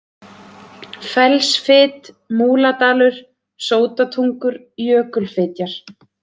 Fellsfit, Múladalur, Sótatungur, Jökulfitjar